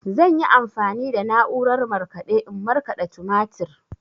Zan yi amfani da na'urar markaɗe in markaɗa tumatir.